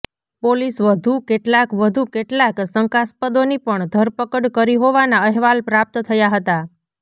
police વધુ કેટલાક વધુ કેટલાક શંકાસ્પદોની પણ ધરપકડ કરી હોવાના અહેવાલ પ્રાપ્ત થયા હતા